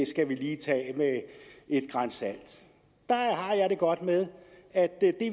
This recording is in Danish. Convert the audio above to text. skal lige tages med et gran salt der har jeg det godt med at